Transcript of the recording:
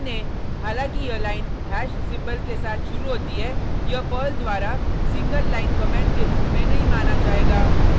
ध्यान दें हालांकि यह लाइन हैश सिंबल के साथ शुरू होती है यह पर्ल द्वारा सिंगल लाइन कमेंट के रूप में नहीं माना जाएगा